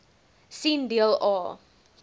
sien deel a